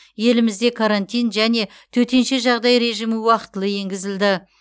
елімізде карантин және төтенше жағдай режимі уақтылы енгізілді